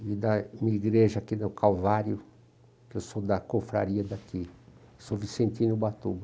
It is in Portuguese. e da minha igreja aqui no Calvário, que eu sou da cofraria daqui, sou Vicentino Ubatuba.